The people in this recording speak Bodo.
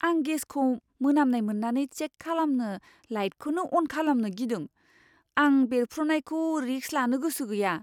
आं गेसखौ मोनामनाय मोन्नानै चेक खालामनो लाइटखौनो अन खालामनो गिदों। आं बेरफ्रुनायखौ रिस्क लानो गोसो गैया।